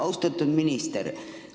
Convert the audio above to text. Austatud minister!